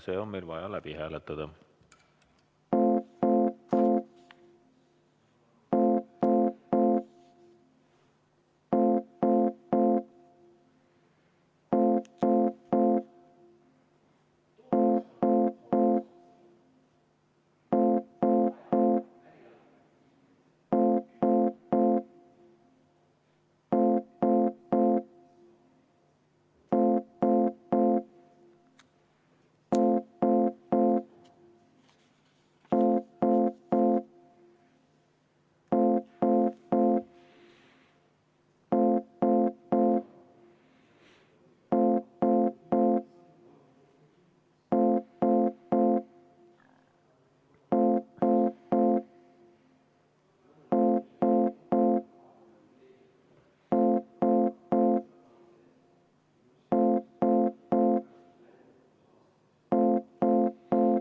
See on meil vaja läbi hääletada.